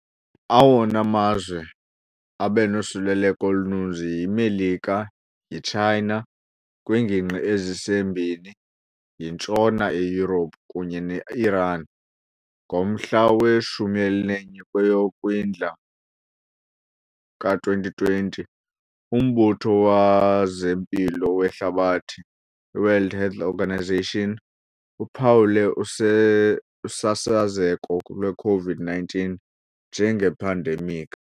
Awona mazwe abenosoluleleko oluninzi yiMelika, yiChina kwiingingqi ezisembini, yintshona eYurophu kunye neIran. Ngomhla we-11 kweyoKwindla kowama-2020, uMbutho wezeMpilo weHlabathi, iWorld Health Organisation, uphawule use usasazeko lweCOVID-19 njengephandemikhi.